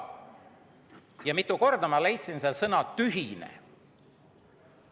Ja mitu korda ma leidsin sealt sõna "tühine"?